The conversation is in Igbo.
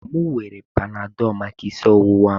M were panadolu maka isi ọwụwa m.